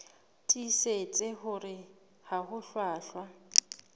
tiisitse hore ha ho hlwahlwa